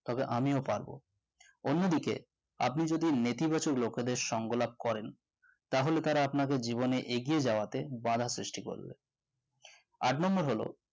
তবে আমিও পারবো অন্যদিকে আপনি যদি নেতিবাচক লোকের দের সঙ্গ লাভ করেন তাহলে তারা জীবনে আপনাকে এগিয়ে যাওয়াতে বাধা সৃষ্টি করবে আট number হল